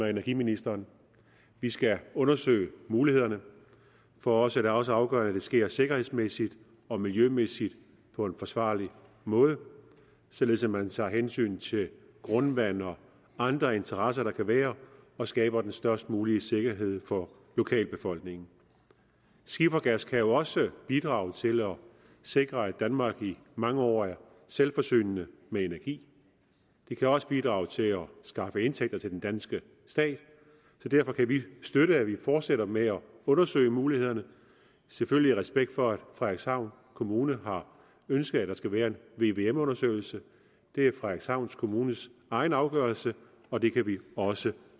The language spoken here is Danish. og energiministeren vi skal undersøge mulighederne for os er det også afgørende at det sker sikkerhedsmæssigt og miljømæssigt på en forsvarlig måde således at man tager hensyn til grundvand og andre interesser der kan være og skaber den størst mulige sikkerhed for lokalbefolkningen skifergas kan jo også bidrage til at sikre at danmark i mange år er selvforsynende med energi det kan også bidrage til at skaffe indtægter til den danske stat så derfor kan vi støtte at vi fortsætter med at undersøge mulighederne selvfølgelig i respekt for at frederikshavn kommune har ønsket at der skal være en vvm undersøgelse det er frederikshavn kommunes egen afgørelse og det kan vi også